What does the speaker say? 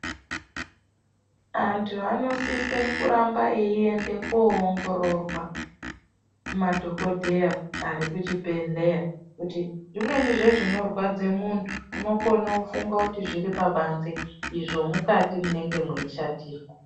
Antu anosise kuramba eyiende koongororwa kumadhokodheya ari kuchibhedhleya, Kuti zvimweni zvezvinorwadze muntu unokone kufunga kuti zviri pabanze izvo mukati munenge mweishatirwa.